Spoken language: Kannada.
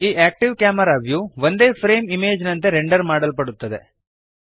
ಈ ಆಕ್ಟಿವ್ ಕ್ಯಾಮೆರಾ ವ್ಯೂ ಒಂದೇ ಫ್ರೇಮ್ ಇಮೇಜ್ ನಂತೆ ರೆಂಡರ್ ಮಾಡಲ್ಪಡುತ್ತದೆ